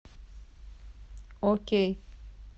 окей